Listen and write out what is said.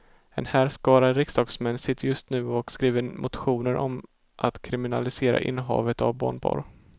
En härskara riksdagsmän sitter just nu och skriver motioner om att kriminalisera innehavet av barnporr.